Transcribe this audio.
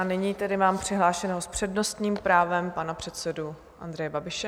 A nyní tedy mám přihlášeného s přednostním právem pana předsedu Andreje Babiše.